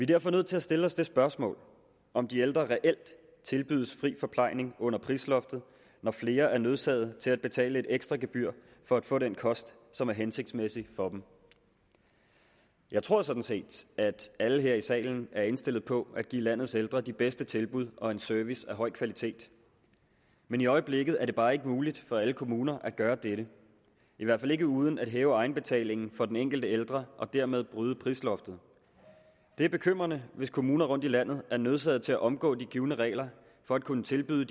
derfor nødt til at stille os det spørgsmål om de ældre reelt tilbydes fri forplejning under prisloftet når flere er nødsaget til at betale et ekstra gebyr for at få den kost som er hensigtsmæssig for dem jeg tror sådan set at alle her i salen er indstillet på at give landets ældre de bedste tilbud og en service af høj kvalitet men i øjeblikket er det bare ikke muligt for alle kommuner at gøre dette i hvert fald ikke uden at hæve egenbetalingen for den enkelte ældre og dermed bryde prisloftet det er bekymrende hvis kommuner rundt i landet er nødsaget til at omgå de givne regler for at kunne tilbyde